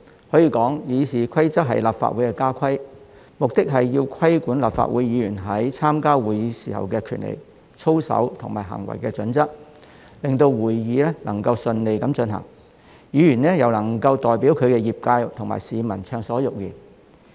所以，《議事規則》可說是立法會的家規，目的是規管立法會議員在參加會議時的權利、操守及行為準則，令會議能夠順利進行，議員可以代表其業界及市民暢所欲言。